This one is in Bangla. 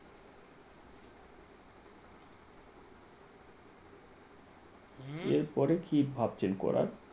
হম এরপরে কি ভাবছেন করার